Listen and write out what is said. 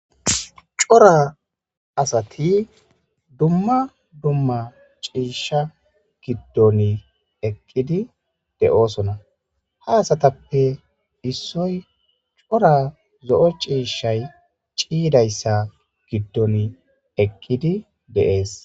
cora asati dumma dumma ciisha giddon eqqi de'ona ha asatappe issoy cora zo'o ciishay ciidayssa giddon eqqidi dees.